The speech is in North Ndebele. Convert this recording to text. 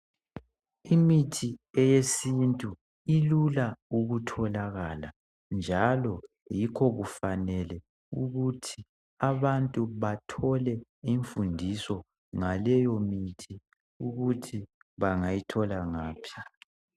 Imithi eyesintu ilula ukutholakala njalo yikho kufanele ukuthi abantu bathole imfundiso ngaleyo mithi ukuthi bangayithola ngaphi.